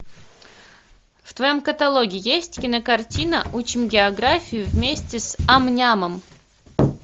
в твоем каталоге есть кинокартина учим географию вместе с ам нямом